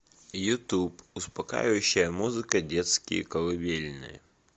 ютуб успокаивающая музыка детские колыбельные